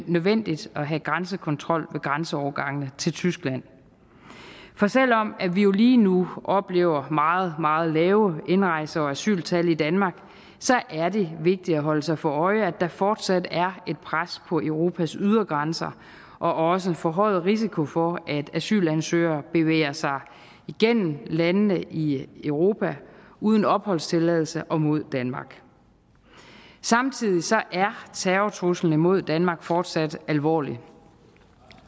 nødvendigt at have grænsekontrol ved grænseovergangene til tyskland for selv om vi jo lige nu oplever meget meget lave indrejse og asyltal i danmark er det vigtigt at holde sig for øje at der fortsat er et pres på europas ydergrænser og også en forhøjet risiko for at asylansøgere bevæger sig igennem landene i europa uden opholdstilladelse og mod danmark samtidig er terrortruslen imod danmark fortsat alvorlig